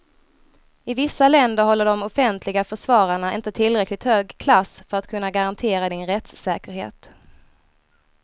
I vissa länder håller de offentliga försvararna inte tillräckligt hög klass för att kunna garantera din rättssäkerhet.